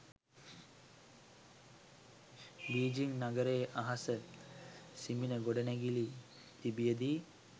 Beijing නගරයේ අහස සිඹින ගොඩනැගිලි තිබියදී